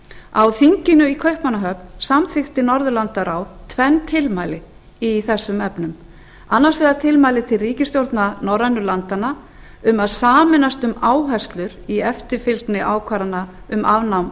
á þinginu í kaupmannahöfn samþykkti norðurlandaráð tvenn tilmæli í þessum efnum annars vegar tilmæli til ríkisstjórna norrænu landanna um að sameinast um áherslur í eftirfylgni ákvarðana um afnám